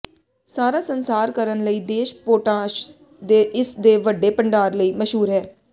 ਸਾਰਾ ਸੰਸਾਰ ਕਰਨ ਲਈ ਦੇਸ਼ ਪੋਟਾਸ਼ ਦੇ ਇਸ ਦੇ ਵੱਡੇ ਭੰਡਾਰ ਲਈ ਮਸ਼ਹੂਰ ਹੈ